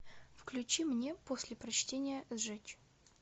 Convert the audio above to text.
включи мне после прочтения сжечь